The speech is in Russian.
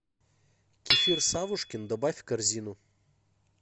кефир савушкин добавь в корзину